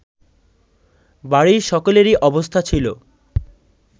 বাড়ির সকলেরই অবস্থা ছিল